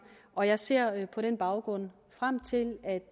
og jeg ser på den baggrund frem til at